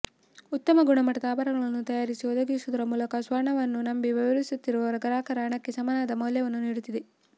ಉತ್ತಮ ಗುಣಮಟ್ಟದ ಆಭರಣಗಳನ್ನು ತಯಾರಿಸಿ ಒದಗಿಸುವುದರ ಮೂಲಕ ಸ್ವರ್ಣವನ್ನು ನಂಬಿ ವ್ಯವಹರಿಸುತ್ತಿರುವ ಗ್ರಾಹಕರ ಹಣಕ್ಕೆ ಸಮನಾದ ಮೌಲ್ಯವನ್ನು ನೀಡುತ್ತಿದೆ